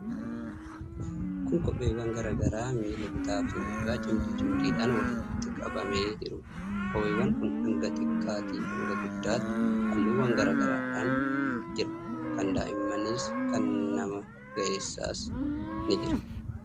Kun gosa kopheewwan garaa garaa miila bitaafi mirgaa cimdii cimdiidhaan walitti qabamee jiruudha. Kopheewwan kun hanga xiqqaatii hanga guddaatti, halluuwwan garaa garaadhaan jira. Kan daa'immaniis kan nama ga'eessaas ni jira.